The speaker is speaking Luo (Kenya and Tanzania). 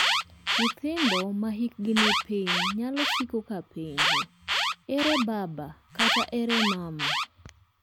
Nyithindo ma hikgi ni piny nyalo siko ka penjo "ere baba" kata "ere mama".